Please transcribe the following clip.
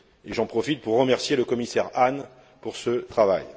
J'en profite pour remercier le commissaire Hahn pour ce travail.